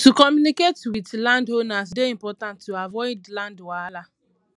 to communicate with landowners dey important to avoid land wahala